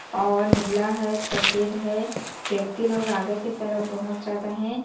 और नीला हैं सफेद हैं व्यक्ति लोग आगे की तरफ बहुत ज्यादा हैं।